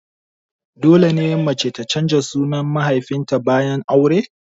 Dole ne mace ta canza sunan mahaifin ta bayan aure?